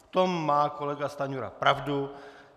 V tom má kolega Stanjura pravdu.